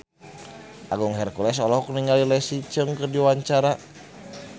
Agung Hercules olohok ningali Leslie Cheung keur diwawancara